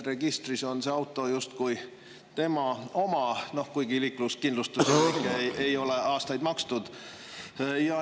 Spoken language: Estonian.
Registris on see auto justkui tema oma, kuigi liikluskindlustuse eest ei ole aastaid makstud.